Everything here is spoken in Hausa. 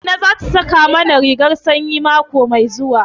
Inna za ta saƙa mana rigar sanyi mako mai zuwa.